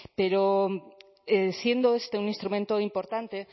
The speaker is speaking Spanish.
pero siendo este un instrumento importante